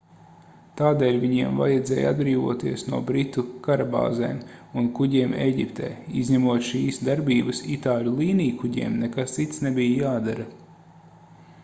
tādēļ viņiem vajadzēja atbrīvoties no britu karabāzēm un kuģiem ēģiptē izņemot šīs darbības itāļu līnijkuģiem nekas cits nebija jādara